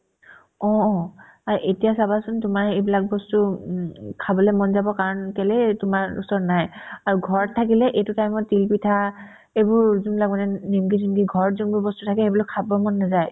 অ অ আ এতিয়া চাবাচোন তোমাৰ এইবিলাক বস্তু উম উম খাবলে মন যাব কাৰণ কেলেই তোমাৰ ওচৰত নাই আৰু ঘৰত থাকিলে এইটো time ত তিল পিঠা এইবোৰ যোনবিলাক মানে নি ~ নিম্কি যোনতো ঘৰত যোনবোৰ বস্তু থাকে সেইবিলাক খাব মন নাযায়